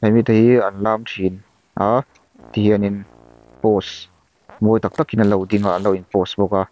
mite hi an lam thin a tihian in pose mawi taktakin anlo ding a anlo pose bawk a.